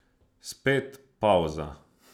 Spet pavza.